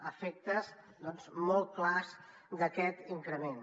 efectes doncs molt clars d’aquest increment